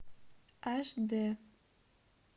аш д